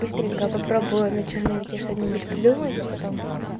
быстренько попробую на черновике что-нибудь придумывать а потом